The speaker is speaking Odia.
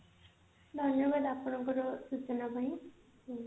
ଧନ୍ୟବାଦ ଆପଣଙ୍କର ସୂଚନା ପାଇଁ thank you